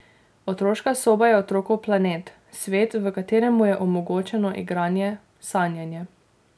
Otroška soba je otrokov planet, svet, v katerem mu je omogočeno igranje, sanjanje.